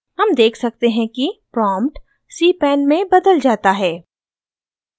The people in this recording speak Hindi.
हम देख सकते हैं कि प्रॉम्प्ट cpan में बदल जाता है